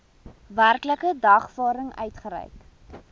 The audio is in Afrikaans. werklike dagvaarding uitgereik